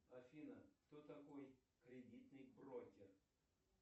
афина кто такой кредитный брокер